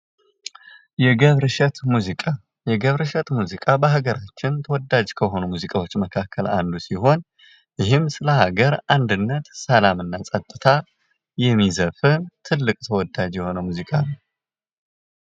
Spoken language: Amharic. የገብረ እሸት ሙዚቃ የገብረ እሸቱ ሙዚቃ በአገራችን ተወዳጅ ከሆኑ ሙዚቃዎች መካከል አንዱ ሲሆን ይህም ስለ ሀገር አንድነት ሰላምና ፀጥታ የሚዘፍን ትልቅ ተወዳጅ የሆነው ሙዚቃ ነው።